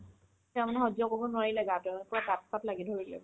তেওঁ মানে সহ্য কৰিব নোৱাৰিলে গাতো আৰু পূৰা পাত-চাত লাগি ধৰি দিলে